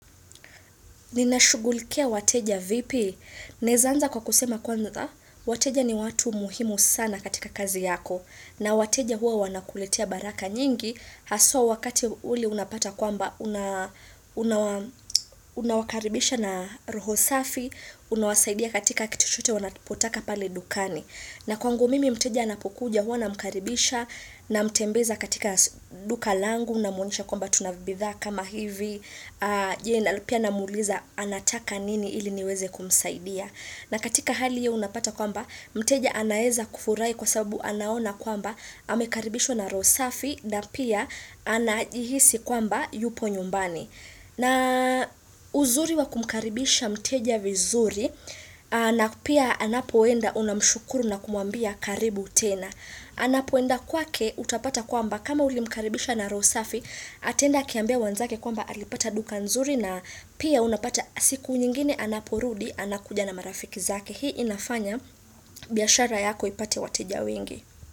Ninashughulikia wateja vipi? Naweza anza kwa kusema kwanza, wateja ni watu muhimu sana katika kazi yako. Na wateja huwa wanakuletea baraka nyingi, haswa wakati ule unapata kwamba unawakaribisha na roho safi, unawasaidia katika kituchochote wanapotaka pale dukani. Na kwangu mimi mteja anapokuja huwa na mkaribisha na mtembeza katika duka langu na muonesha kwamba tunabidhaa kama hivi, je na pia namuuliza anataka nini ili niweze kumsaidia. Na katika hali hiyo unapata kwamba mteja anaweza kufurahi kwa sababu anaona kwamba amekaribishwa na roho safi na pia anajihisi kwamba yupo nyumbani. Na uzuri wa kumkaribisha mteja vizuri na pia anapoenda unamshukuru na kumuambia karibu tena. Anapoenda kwake utapata kwamba kama ulimkaribisha na roho safi ataenda akiambia wenzake kwamba alipata duka nzuri na pia unapata siku nyingine anaporudi anakuja na marafiki zake. Hii inafanya biashara yako ipate wateja wengi.